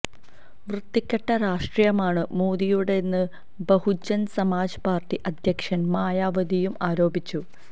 വൃത്തികെട്ട രാഷ്ട്രീയമാണ് മോദിയുടേതെന്ന് ബഹുജന് സമാജ് പാര്ട്ടി അധ്യക്ഷ മായാവതിയും ആരോപിച്ചു